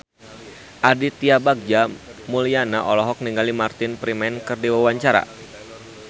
Aditya Bagja Mulyana olohok ningali Martin Freeman keur diwawancara